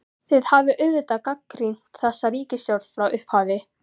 Þið hafið auðvitað gagnrýnt þessa ríkisstjórn frá upphafi?